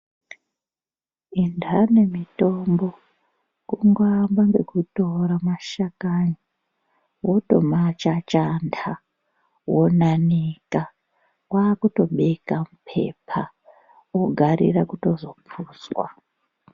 Indani mitombo kungoaamba nekutora mashakani wotomachachanda wonanika wotobeka mupepa ogarirwa kutozopuzwa.